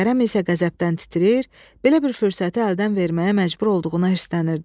Kərəm isə qəzəbdən titrəyir, belə bir fürsəti əldən verməyə məcbur olduğuna hirslənirdi.